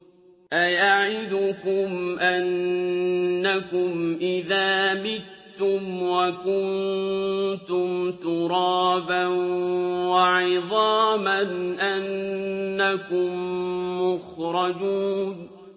أَيَعِدُكُمْ أَنَّكُمْ إِذَا مِتُّمْ وَكُنتُمْ تُرَابًا وَعِظَامًا أَنَّكُم مُّخْرَجُونَ